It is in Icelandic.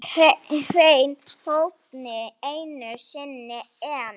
Hrein heppni einu sinni enn.